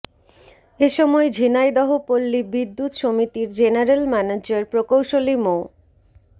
এ সময় ঝিনাইদহ পল্লী বিদ্যুৎ সমিতির জেনারেল ম্যানেজার প্রকৌশলী মো